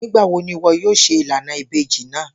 Nigbawo ni iwọ yoo ṣe ilana ibeji naa?